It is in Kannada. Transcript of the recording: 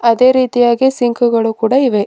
ಅದೇ ರೀತಿಯಾಗಿ ಸಿಂಕ್ ಗಳು ಕೂಡ ಇವೆ.